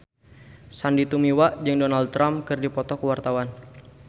Sandy Tumiwa jeung Donald Trump keur dipoto ku wartawan